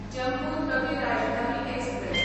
Jammu Tawi Rajdhani express